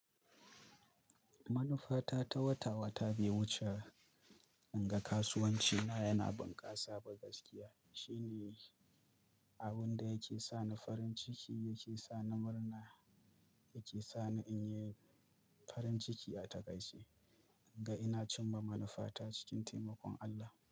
Manufata ta wata-wata be wuce, in ga kasuwancina yana bunƙasa ba gaskiya. Shine abin da yake sani farin ciki, yake sa ni murna, yake sani in yi farin ciki a takaice. In ga ina cimma manufata cikin taimakon Allah.